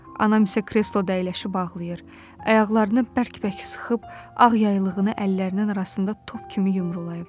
Anam isə kresloda əyləşib ağlayır, ayaqlarını bərk-bərk sıxıb ağ yaylığını əllərinin arasında top kimi yumrulayıb.